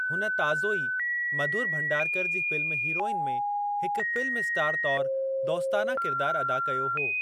हुन ताज़ो ई मधुर भंडारकर जी फ़िल्म हीरोइन में हिक फ़िल्म स्टार तौरु दौस्ताना किरदारु अदा कयो हो।